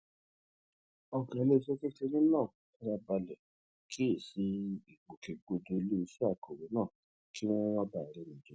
ògá iléeṣé kékeré náà fara balè kíyè sí ìgbòkègbodò iléeṣé akòwé náà kí wón má bàa réni jẹ